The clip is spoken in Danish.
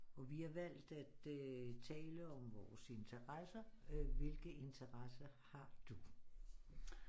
Og vi har valgt at øh tale om vores interesser hvilke interesser har du